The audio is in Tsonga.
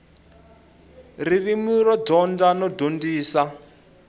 ririmi ro dyondza no dyondzisa